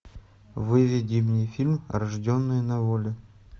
выведи мне фильм рожденные на воле